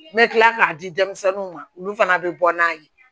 N bɛ kila k'a di denmisɛnninw ma olu fana bɛ bɔ n'a ye